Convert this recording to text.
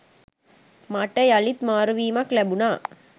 මට යළිත් මාරුවීමක් ලැබුණා.